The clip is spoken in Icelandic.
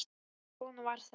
En svona var þetta.